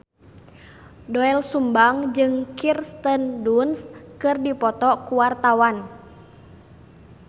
Doel Sumbang jeung Kirsten Dunst keur dipoto ku wartawan